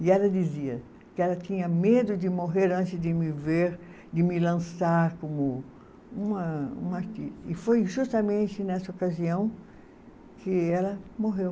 E ela dizia que ela tinha medo de morrer antes de me ver, de me lançar como uma, uma arti. E foi justamente nessa ocasião que ela morreu.